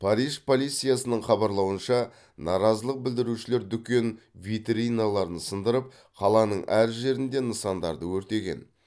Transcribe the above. париж полициясының хабарлауынша наразылық білдірушілер дүкен витриналарын сындырып қаланың әр жерінде нысандарды өртеген